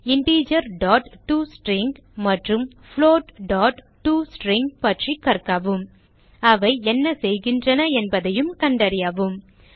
integer to string மற்றும் floatடோஸ்ட்ரிங் பற்றி கற்கவும் அவை என்ன செய்கிறது என்பதை கண்டறியவும்